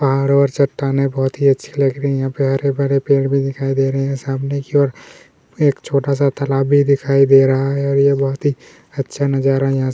चारो ओर चट्टाने बहतु ही अच्छी लग रही है हरे-भरे पेड़ भी दिखाई दे रहे है सामने की ओर एक छोटा सा तालाब भी दिखाई दे रहा है और ये बहुत ही अच्छा नजारा यहाँ से-- .